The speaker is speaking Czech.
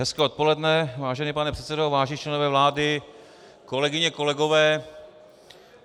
Hezké odpoledne, vážený pane předsedo, vážení členové vlády, kolegyně, kolegové.